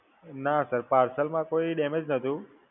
ના Sir, parcel માં કોઈ damage નતું.